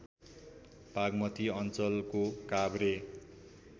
बागमती अञ्चलको काभ्रे